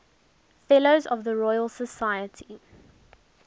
fellows of the royal society